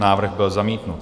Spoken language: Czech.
Návrh byl zamítnut.